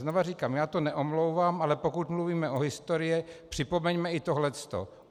Znovu říkám, já to neomlouvám, ale pokud mluvíme o historii, připomeňme i tohle.